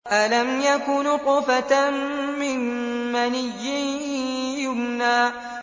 أَلَمْ يَكُ نُطْفَةً مِّن مَّنِيٍّ يُمْنَىٰ